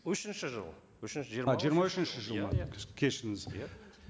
үшінші жыл үшінші жиырма үшінші жыл ма кешіріңіз иә